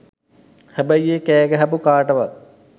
හැබැයි ඒ කෑගහපු කාටවත්